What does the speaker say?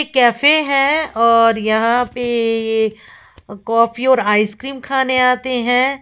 Cafe हैं और यहां पे कॉफ़ी और आइसक्रीम खाने आते हैं।